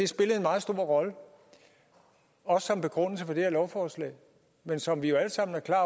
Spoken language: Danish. spillede en ret stor rolle også som begrundelse for det her lovforslag men som vi alle sammen er klar